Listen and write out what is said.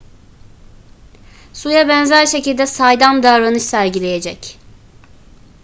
suya benzer şekilde saydam davranış sergileyecek